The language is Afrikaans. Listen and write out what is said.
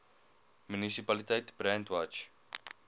munisipaliteit brandwatch